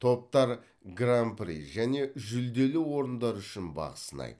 топтар гран при және жүлделі орындар үшін бақ сынайды